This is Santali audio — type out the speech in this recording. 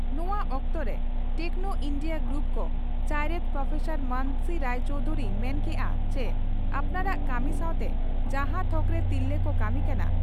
ᱱᱚᱣᱟ ᱚᱠᱛᱚᱨᱮ ᱴᱮᱠᱱᱚ ᱤᱱᱰᱤᱭᱟ ᱜᱨᱩᱯ ᱠᱚ ᱪᱟᱭᱨᱮᱛ ᱯᱨᱚᱯᱷᱮᱥᱚᱨ ᱢᱟᱱᱚᱥᱤ ᱨᱟᱭ ᱪᱚᱣᱫᱷᱩᱨᱤ ᱢᱮᱱ ᱠᱮᱫᱼᱟ ᱪᱤ ᱟᱯᱱᱟᱨᱟᱜ ᱠᱟᱹᱢᱤ ᱥᱟᱶᱛᱮ ᱡᱟᱦᱟᱸ ᱛᱷᱚᱠᱨᱮ ᱛᱤᱨᱞᱟᱹ ᱠᱚ ᱠᱟᱹᱢᱤ ᱠᱟᱱᱟ